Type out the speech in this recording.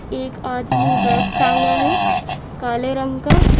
एक आदमी बेग टांगा है काले रंग का--